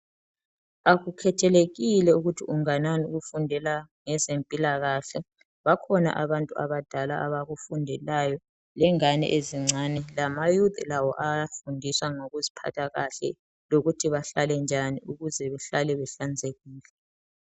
Akukhethelekile ukuthi unganani ukufundela ngezempilakahle bakhona abantu abadala abakufundelayo lengane ezincane lama youth lawo ayafundiswa ngokuziphatha kahle lokuthi bahlale njani ukuthi bahlale behlanzekile